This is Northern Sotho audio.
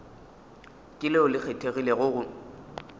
ke leo le kgethegilego go